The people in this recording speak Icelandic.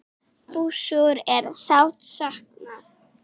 Bússu er sárt saknað.